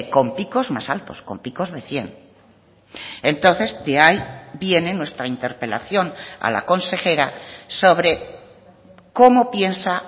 con picos más altos con picos de cien entonces de ahí viene nuestra interpelación a la consejera sobre cómo piensa